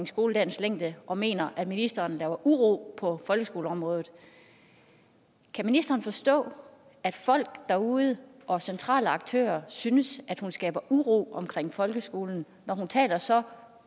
skoledagens længde og som mener at ministeren laver uro på folkeskoleområdet kan ministeren forstå at folk derude og centrale aktører synes at hun skaber uro omkring folkeskolen når hun taler så